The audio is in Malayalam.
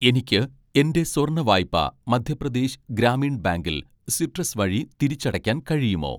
എനിക്ക് എൻ്റെ സ്വർണ്ണ വായ്പ മധ്യപ്രദേശ് ഗ്രാമീൺ ബാങ്കിൽ സിട്രസ് വഴി തിരിച്ചടയ്ക്കാൻ കഴിയുമോ